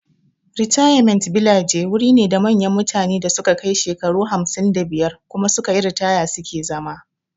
Ritayament bilaje wuri ne da manyan mutane da su ka kai shekaru hamsin da biyar kuma sukayi ritaya suke zama